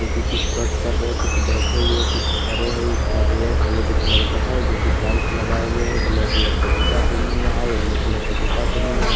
जो कि कुछ कट कर रहे हैं कुछ बैठे हुए कुछ खड़े है इसका ड्रेस रेड कलर का है जो कि टाइल्स लगाए हुए है ब्लैक कलर का जूता पहने हुआ है येलो कलर का जूता पहने हुआ है।